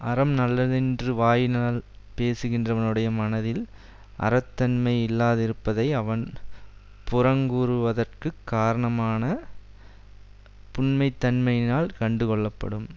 அறம் நல்லதென்று வாயினால் பேசுகின்றவனுடைய மனத்தில் அறத் தன்மை இல்லாதிருப்பதை அவன் புறங்கூறுவதற்குக் காரணமான புன்மைத்தன்மையினால் கண்டுகொள்ளப்படும்